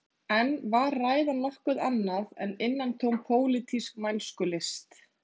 En var ræðan nokkuð annað en innantóm pólitísk mælskulist